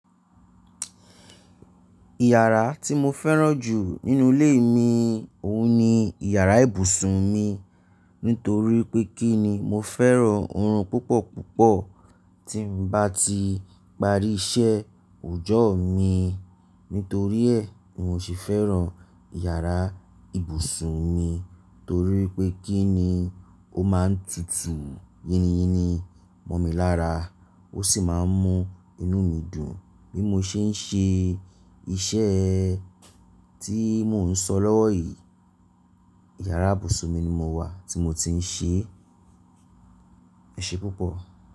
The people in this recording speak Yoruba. Ìyàrá tí mo fẹ́ràn jù nínú ilé mi òun ni ìyàrá ìbùsùn mi. Nítorí pé kí ni mo fẹ́ràn orun púpọ̀ púpọ̀ tí ń bá ti parí iṣẹ́ ọjọ́ mi. Nítorí ẹ̀ ni mo ṣe fẹ́ràn ìyàrá ìbùsùn mi torí pé kí ni ó máa ń tutù yíníyíní mọ̀ mi lára ó sì máa ń mú inú mi dùn bí mo ṣe ń ṣe iṣẹ́ tí mò ń sọ lọ́wọ́ yìí. Ìyàrá ìbùsùn mi ni mo wà tí mo ti ń ṣe. Ẹ̀ṣẹ́ púpọ̀.